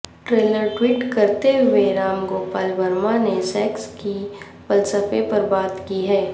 trailer tweet کرتے ہوئے رام گوپال ورما نے سیکس کے فلسفے پر بات کی ہے